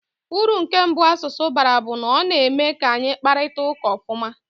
Uru nke mbụ asụsụ bara bụ na ọ na-eme ka anyị kparịta ụka ofuma.